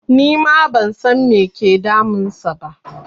Nima ban san me ke damun sa ba